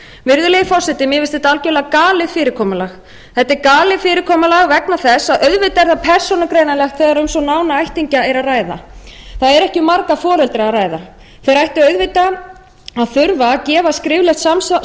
virðulegi forseti mér finnst þetta algjörlega galið fyrirkomulag þetta er galið fyrirkomulag vegna þess að auðvitað er það persónugreinanlegt þegar um svo nána ættingja er að ræða það er ekki um marga foreldra að ræða þeir ættu auðvitað að þurfa að gefa skriflegt